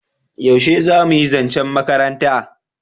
yaushe zamuyi zancen makaranta?